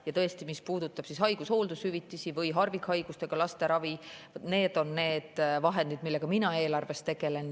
Ja tõesti, mis puudutab haigus- ja hooldushüvitisi või harvikhaigustega laste ravi, siis nende vahenditega eelarves tegelen mina.